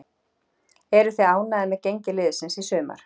Eruð þið ánægðir með gengi liðsins í sumar?